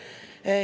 Suur tänu!